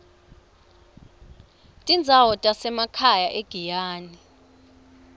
tindzawo tasemakhaya egiyani